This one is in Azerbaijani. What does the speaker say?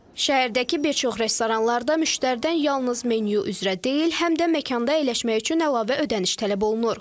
Şəhərdəki bir çox restoranlarda müştəridən yalnız menyu üzrə deyil, həm də məkanda əyləşmək üçün əlavə ödəniş tələb olunur.